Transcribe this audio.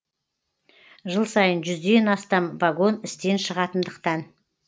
жыл сайын жүзден астам вагон істен шығатындықтан